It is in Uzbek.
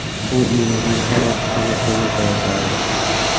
U uyimizning orqa qismida ko‘mir tayyorlardi.